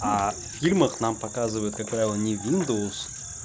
а в фильмах нам показывают как правило не виндоус